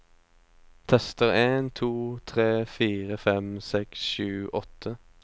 Tester en to tre fire fem seks sju åtte